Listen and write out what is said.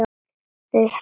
Þau hreyfðu sig ekki.